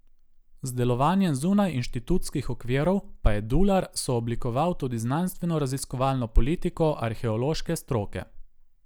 Z delovanjem zunaj inštitutskih okvirov pa je Dular sooblikoval tudi znanstvenoraziskovalno politiko arheološke stroke.